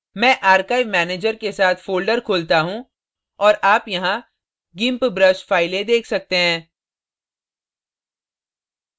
मैं archive manager के साथ folder खोलता हूँ और आप यहाँ gimp brush files देख सकते हैं